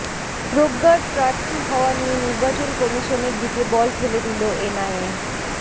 প্রজ্ঞার প্রার্থী হওয়া নিয়ে নির্বাচন কমিশনের দিকে বল ঠেলে দিল এনআইএ